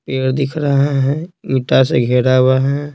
पेड़ दिख रहा है इटा से घेरा हुआ है।